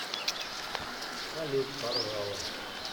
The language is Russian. салют поржала